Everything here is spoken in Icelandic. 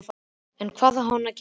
En hvað á hann að gera?